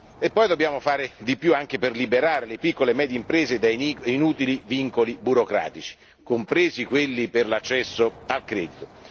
E poi dobbiamo fare di più anche per liberare le piccole e medie imprese da inutili vincoli burocratici, compresi quelli per l'accesso al credito.